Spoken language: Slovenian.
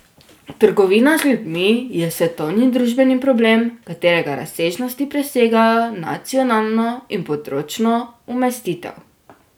Trgovina z ljudmi je svetovni družbeni problem, katerega razsežnosti presegajo nacionalno in področno umestitev.